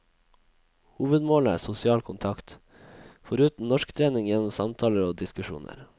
Hovedmålet er sosial kontakt, foruten norsktrening gjennom samtaler og diskusjoner.